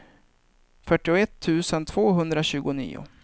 fyrtioett tusen tvåhundratjugonio